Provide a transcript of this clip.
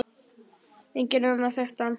Enginn annar þekkti hann.